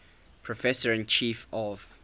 professor and chief of